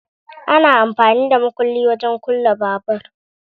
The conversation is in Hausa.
Ana amfani da makulli wajen kulle babur